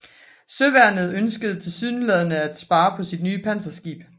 Søværnet ønskede tilsyneladende at spare på sit nye panserskib